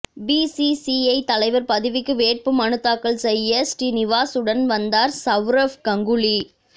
BCCI தலைவர் பதவிக்கு வேட்பு மனு தாக்கல் செய்ய ஸ்ரீநிவாசனுடன் வந்தார் சவுரவ் கங்குலி